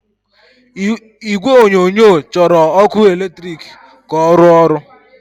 Igwe onyonyo chọrọ ọkụ eletrik ka ọ rụọ ọrụ.